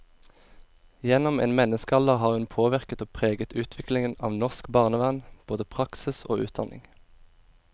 Gjennom en menneskealder har hun påvirket og preget utviklingen av norsk barnevern, både praksis og utdanning.